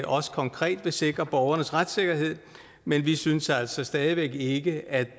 også konkret vil sikre borgernes retssikkerhed men vi synes altså stadig væk ikke at